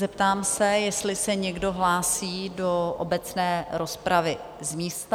Zeptám se, jestli se někdo hlásí do obecné rozpravy z místa?